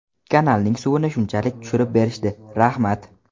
Kanalning suvini shunchalik tushirib berishdi, rahmat.